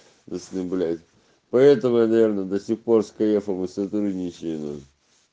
если блять поэтому наверное до сих пор с каефом и сотрудничества на